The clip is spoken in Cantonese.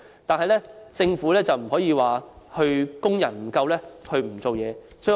但是，政府不能因為工人不足而不作為。